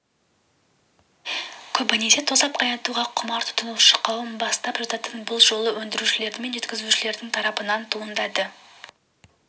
көбінесе тосап қайнатуға құмар тұтынушы қауым бастап жататын бұл жолы өндірушілер мен жеткізушілер тарапынан туындады